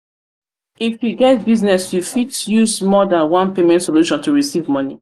if you get business you fit use more than one payment solution to recieve money